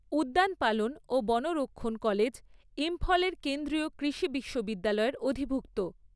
উদ্যানপালন ও বনরক্ষণ কলেজ ইম্ফলের কেন্দ্রীয় কৃষি বিশ্ববিদ্যালয়ের অধিভুক্ত।